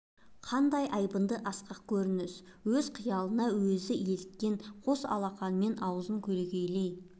қандай айбынды асқақ көрініс өз қиялына өзі еліткен қос алақанымен аузын көлегейлей